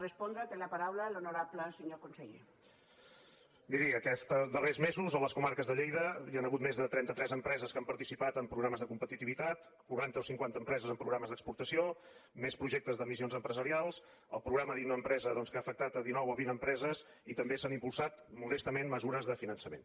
miri aquests darrers mesos a les comarques de lleida hi han hagut més de trenta tres empreses que han participat en programes de competitivitat quaranta o cinquanta empreses en programes d’exportació més projectes de missions empresarials el programa innoempresa doncs que ha afectar dinou o vint empreses i també s’han impulsat modestament mesures de finançament